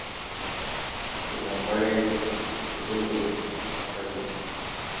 кинопоэзия серебряный век покажи мне